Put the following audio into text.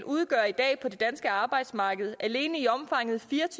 udgør i dag på det danske arbejdsmarked alene fire